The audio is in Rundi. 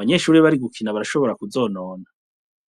bnyeshuri bari gukina barashobora kuzonona.